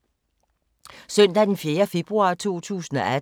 Søndag d. 4. februar 2018